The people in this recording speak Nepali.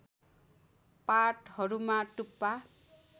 पातहरूमा टुप्पा